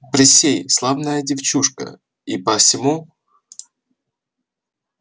присей славная девчушка и посему